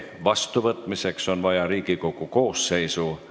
Palun võtta seisukoht ja hääletada!